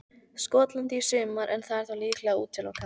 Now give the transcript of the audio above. Skotlandi í sumar en það er þá líklega útilokað.